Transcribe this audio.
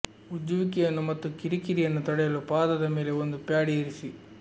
ಉಜ್ಜುವಿಕೆಯನ್ನು ಮತ್ತು ಕಿರಿಕಿರಿಯನ್ನು ತಡೆಯಲು ಪಾದದ ಮೇಲೆ ಒಂದು ಪ್ಯಾಡ್ ಇರಿಸಿ